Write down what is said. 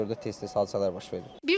Ona görə də tez-tez hadisələr baş verir.